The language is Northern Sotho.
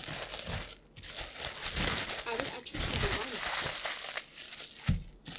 a be a tšhoša gobane